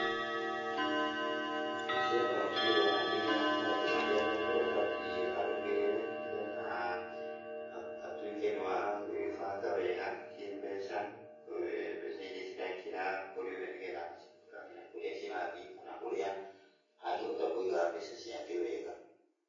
Mbica ĩno nĩ ĩronania maũndũ marĩa mũndũ abatiĩ arũmĩrĩre nĩ getha atuĩke nĩ wa gwĩbanga wega kĩmbeca. Mbeca iria ciraingĩra kũrĩ we nĩ getha akamenya kũrĩa cirathiĩ kana ũrĩa angĩhota kũiga mbeca ciake wega.